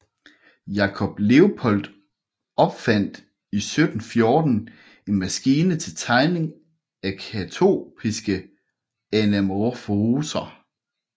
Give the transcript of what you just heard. Jakob Leupold opfandt 1714 en maskine til tegning af katoptriske anamorfoser